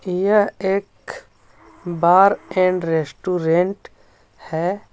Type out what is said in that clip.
यह एक bar and restaurant है.